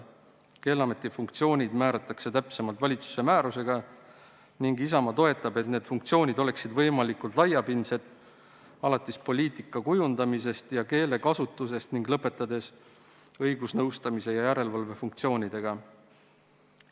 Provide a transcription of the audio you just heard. Keeleameti funktsioonid määratakse täpsemalt valitsuse määrusega ning Isamaa toetab, et need funktsioonid oleksid võimalikult laiapindsed, alates poliitika kujundamisest ja keelekasutusest ning lõpetades õigusnõustamise ja järelevalve funktsioonidega.